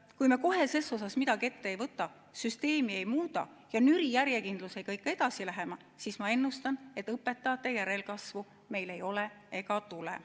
Kui me kohe ses osas midagi ette ei võta, süsteemi ei muuda ja nüri järjekindlusega ikka edasi läheme, siis ma ennustan, et õpetajate järelkasvu meil ei ole ega tule.